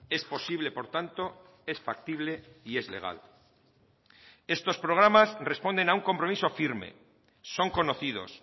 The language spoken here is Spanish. es posible por tanto es factible y es legal estos programas responden a un compromiso firme son conocidos